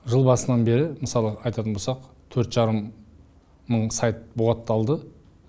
жыл басынан бері мысалы айтатын болсақ төрт жарым мың сайт бұғатталды